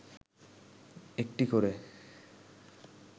একটি করে